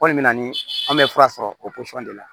Kɔni bɛ na ni an bɛ fura sɔrɔ o pɔsɔn de la